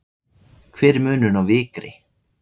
hver er munurinn á vikri